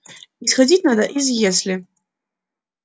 исходить надо из если